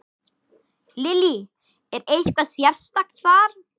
Lillý: Er eitthvað sérstakt þar?